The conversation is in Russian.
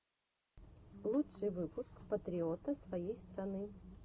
лучший выпуск патриота своей страны